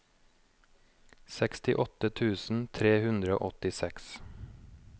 sekstiåtte tusen tre hundre og åttiseks